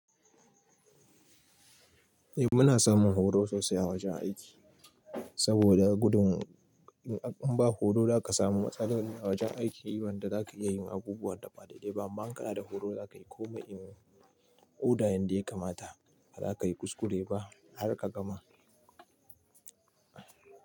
Eh muna samun horo sosai a wajen aiki saboda gudun in ba horo za ka samu matsala wajen aiki, wanda za ka iya yin abubuwa da ba daidai ba. Man ka na da horo za ka yi komai in oda yadda ya kamata, ba za ka yi kuskure ba har ka gama.